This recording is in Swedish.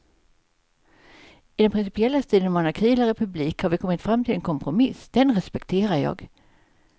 I den principiella striden om monarki eller republik har vi kommit fram till en kompromiss, den respekterar jag.